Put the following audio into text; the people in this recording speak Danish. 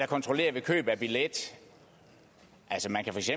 kontrollere ved køb af billet